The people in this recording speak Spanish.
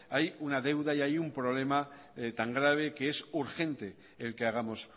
hay una deuda y hay un problema tan grave que es urgente el que hagamos